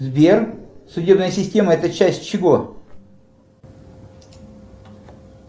сбер судебная система это часть чего